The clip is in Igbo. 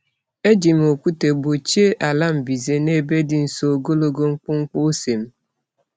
Eji m okwute gbochie ala mbize n'ebe di nso ogologo mkpumkpu ose m.